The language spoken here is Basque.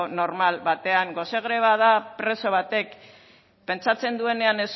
normal batean gose greba da preso batek pentsatzen duenean